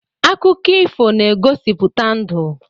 Akụkọ ifo na-egosipụta ndụ.